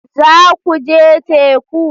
Za ku je teku?